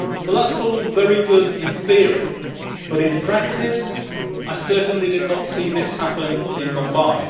That is all very good in theory, but in practice I certainly did not see this happen in Mumbai.